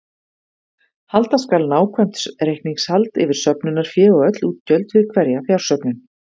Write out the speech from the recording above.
Halda skal nákvæmt reikningshald yfir söfnunarfé og öll útgjöld við hverja fjársöfnun.